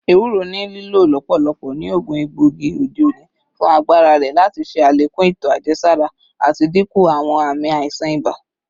Ewuro ni lilo lọpọlọpọ ni oogun egboigi ode oni fun agbara rẹ lati ṣe alekun eto ajẹsara ati dinku awọn aami aisan iba.